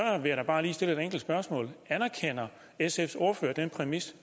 vil jeg bare stille et enkelt spørgsmål anerkender sfs ordfører den præmis